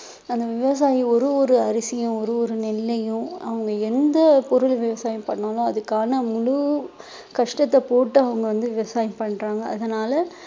அந்த விவசாயி ஒரு ஒரு அரிசியும் ஒரு ஒரு நெல்லையும் அவங்க எந்த பொருள் விவசாயம் பண்ணாலும் அதுக்கான முழு கஷ்டத்தை போட்டு அவங்க வந்து விவசாயம் பண்றாங்க அதனால